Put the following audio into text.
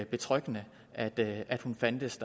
betryggende at at hun fandtes